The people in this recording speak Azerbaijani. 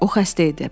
O xəstə idi.